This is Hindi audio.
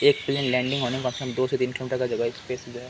एक प्लेन लेंडिंग होने में कम से कम दो से तीन किलोमीटर का जगह स्पेस जो है --